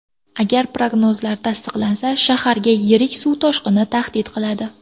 Agar prognozlar tasdiqlansa, shaharga yirik suv toshqini tahdid qiladi.